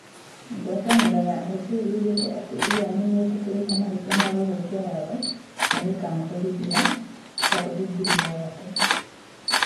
Ngwatanĩro ya FA yugĩte atĩ Ianni nĩ eetĩkĩrire mahĩtia ma "gũthũkia watho" na ĩkamũherithia paundi ngiri ithathatũ